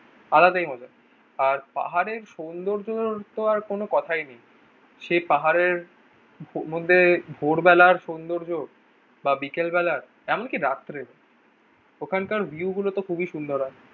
আলাদাই মজা। আর পাহাড়ের সৌন্দর্য তো আর কোন কথাই নেই। সেই পাহাড়ের মধ্যে ভোরবেলার সৌন্দর্য বা বিকেলবেলার এমনকি রাত্রে, ওখানকার ভিউ গুলো তো খুবই সুন্দর হয়।